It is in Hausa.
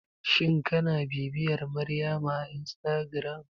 Shin kina bibiyar Maryama a instagram?